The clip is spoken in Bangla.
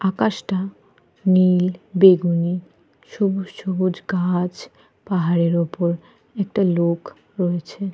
আকাশটা নীল বেগুনি সবুজ সবুজ গাছ পাহাড়ের উপর একটা লোক রয়েছে।